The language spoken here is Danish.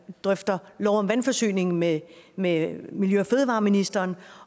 drøfter lov om vandforsyning med med miljø og fødevareministeren